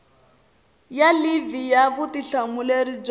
ya livhi ya vutihlamuleri bya